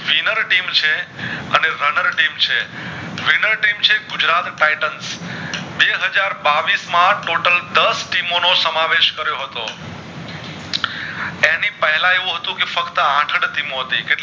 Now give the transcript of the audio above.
અને runner team છે winner team છે ગુજરાત Titans બે હાજર બાવીશ માં total દશ team મોં નો સમાવેશ કરીયો હતો એની પેલા એવું હતું ફક્ત આઠ જ team મોં હતી